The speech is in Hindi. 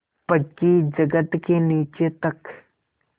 पक्की जगत के नीचे तक